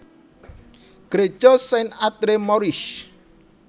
Gréja Saint Andre Maurice